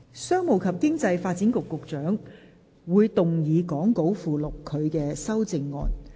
商務及經濟發展局局長會動議講稿附錄他的修正案。